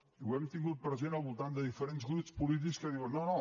i ho hem tingut present al voltant de diferents grups polítics que diuen no no